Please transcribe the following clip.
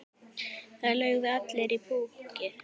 Það lögðu allir í púkkið.